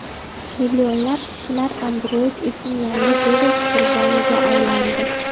Millionlab kishilar Android uchun yangi virus qurboniga aylandi.